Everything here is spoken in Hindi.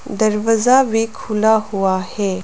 दरवाजा भी खुला हुआ है।